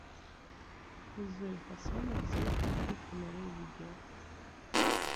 гузель хасанова свет простых фонарей видео